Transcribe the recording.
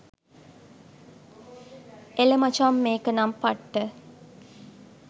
එල මචං මේක නම් පට්ට